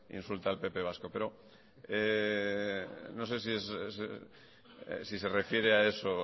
insulta al pp vasco pero no sé si se refiere a eso